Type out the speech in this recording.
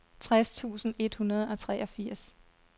tres tusind et hundrede og treogfirs